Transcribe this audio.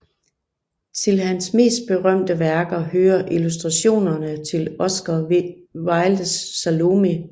Til hans mest berømte værker hører illustrationerne til Oscar Wildes Salomé